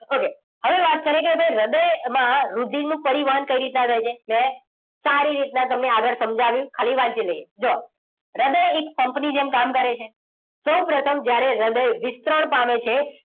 okay હવે વાત કરીએ કે ભાઈ હૃદય માં રુધિરનું પરિવહન કઈ રીતના થાય છે. મેં સારી રીતના તમને આગળ સમજાવ્યું. હવે વાંચી લઈએ. જુઓ, હૃદય એક pump ની જેમ કામ કરે છે.